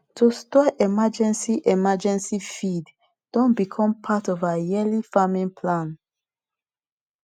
to store emergency emergency feed don become part of our yearly farming plan